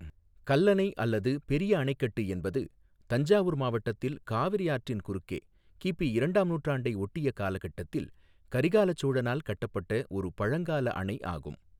கல்லணை அல்லது பெரிய அணைக்கட்டு என்பது தஞ்சாவூர் மாவட்டத்தில் காவிரி ஆற்றின் குறுக்கே கிபி இரண்டாம் நூற்றாண்டை ஒட்டிய காலகட்டத்தில் கரிகால சோழனால் கட்டப்பட்ட ஒரு பழங்கால அணை ஆகும்.